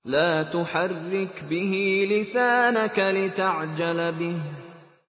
لَا تُحَرِّكْ بِهِ لِسَانَكَ لِتَعْجَلَ بِهِ